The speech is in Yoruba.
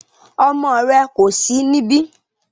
Ọmọ rẹ ko sí níbi